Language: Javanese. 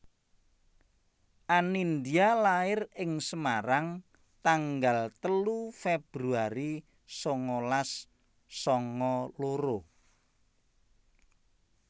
Anindya lair ing Semarang tanggal telu Februari sangalas sanga loro